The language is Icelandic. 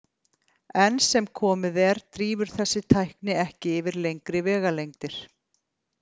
Enn sem komið er drífur þessi tækni ekki yfir lengri vegalengdir.